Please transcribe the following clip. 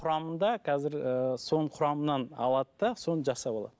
құрамында қазір ыыы соның құрамыннан алады да соны жасап алады